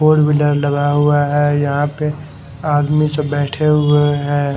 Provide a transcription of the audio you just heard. Four wheeler लगा हुआ है यहां पे आदमी सब बैठे हुए हैं।